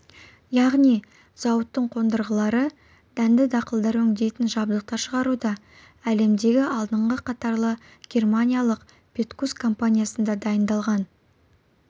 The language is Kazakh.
яғни зауыттың қондырғылары дәнді дақылдар өңдейтін жабдықтар шығаруда әлемдегі алдыңғы қатарлы германиялық петкус компаниясында дайындалған